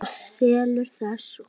Og selurðu það svo?